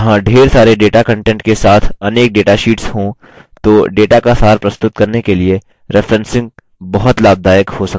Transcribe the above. यदि यहाँ ढेर सारे data कंटेंट के साथ अनेक data शीट्स हो तो data का सार प्रस्तुत करने के लिए referencing बहुत लाभदायक हो सकता है